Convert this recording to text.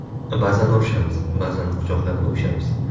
Ba’zan urishamiz, ba’zan quchoqlab o‘pishamiz.